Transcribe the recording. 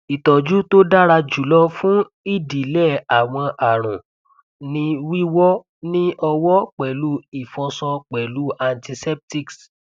ìtọjù tó dára jùlọ fún idilẹ àwọn àrùn ni wíwọ ní ọwọ pẹlú ìfọṣọ pẹlú antiseptics